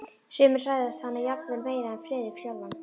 Sumir hræðast hana jafnvel meira en Friðrik sjálfan.